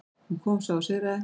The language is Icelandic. Hún kom, sá og sigraði.